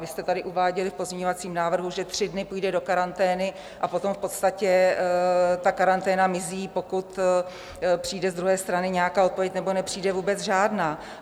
Vy jste tady uváděli v pozměňovacím návrhu, že tři dny půjde do karantény a potom v podstatě ta karanténa mizí, pokud přijde z druhé strany nějaká odpověď, nebo nepřijde vůbec žádná.